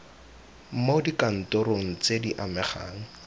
mo dikantorong tse di amegang